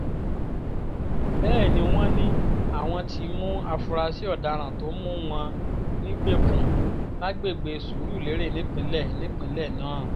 bẹ́ẹ̀ ni wọ́n ní àwọn ti mú àfúrásì ọ̀daràn tó mú wọn nígbèkùn lágbègbè surulere nípínlẹ̀ nípínlẹ̀ náà